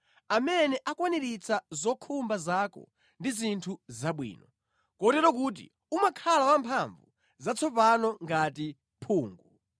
amene akwaniritsa zokhumba zako ndi zinthu zabwino, kotero kuti umakhala wamphamvu zatsopano ngati mphungu.